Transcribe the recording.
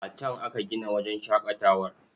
A can aka gina wajen shaƙatawar.